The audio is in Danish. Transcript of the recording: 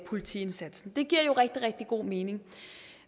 politiindsatsen det giver jo rigtig rigtig god mening